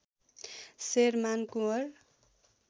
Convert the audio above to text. Sherman Kunwar